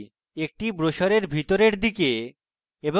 একটি ব্রোসারের ভিতরের দিকে জন্য